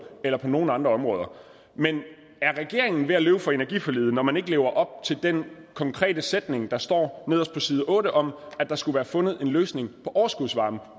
eller på nogen andre områder er regeringen ved at løbe fra energiforliget når man ikke lever op til den konkrete sætning der står nederst på side otte om at der skulle være fundet en løsning på overskudsvarmen